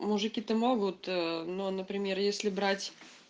мужики то могут но например если брать